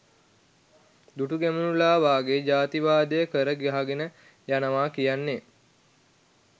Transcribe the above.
දුටුගැමුණුලා වගේ ජාතිවාදය කර ගහගෙන යනවා කියන්නෙ